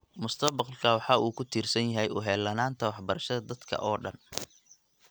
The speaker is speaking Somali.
Mustaqbalka waxa uu ku tiirsan yahay u heellanaanta waxbarashada dadka oo dhan.